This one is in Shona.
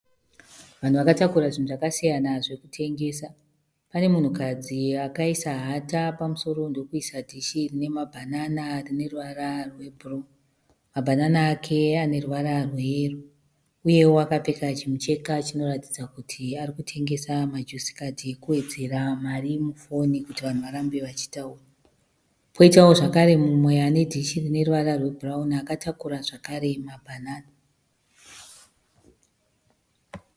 Vanhu vakatakura zvinhu zvakasiyana zvokutengesa. Pane munhukadzi akaisa hata pamusoro ndokuisa dhishi rine mabhanana rine ruvara rwebhuruu. Mabhanana ake ane ruvara rweyero uyewo akapfeka chimucheka chinoratidza kuti ari kutengesa majusi khadhi ekuwedzera mari mufoni kuti vanhu varambe vachitaura. Kwoitawo zvakare umwe ane dishi rine ruvara rwebhurauni akatakura zvakare mabhanana.